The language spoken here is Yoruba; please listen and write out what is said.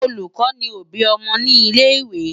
Olùkọ́ ni òbí ọmọ ní ilé-ìwé.